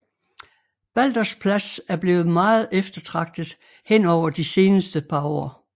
Baldersplads er blevet meget eftertragtet henover de seneste par år